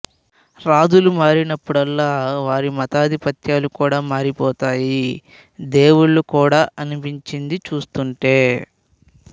రాజులు మారినప్పుడల్లా వారి మతాధిపత్యాలు కూడా మారిపోతాయి దేవుళ్ళు కూడా అనిపించింది చూస్తుంటే